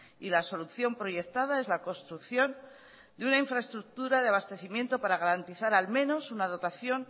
y la solución proyectada es la construcción de una infraestructura de abastecimiento para garantizar al menos una dotación